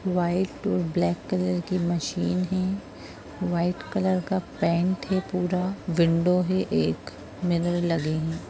White और black colour की machine है वाइट कलर का पेंट है पूरा विंडो है एक मिरर लगे है।